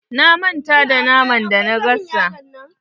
Na manta da naman da na gasa.